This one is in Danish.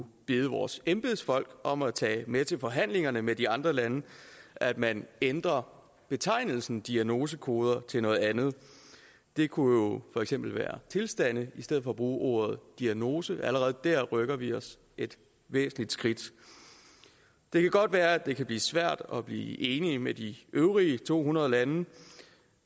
bede vores embedsfolk om at tage med til forhandlingerne med de andre lande at man ændrer betegnelsen diagnosekoder til noget andet det kunne jo for eksempel være tilstande i stedet for at bruge ordet diagnose allerede der rykker vi os et væsentligt skridt det kan godt være at det kan blive svært at blive enige med de øvrige to hundrede lande